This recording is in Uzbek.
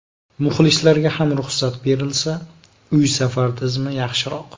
Muxlislarga ham ruxsat berilsa, uy-safar tizimi yaxshiroq.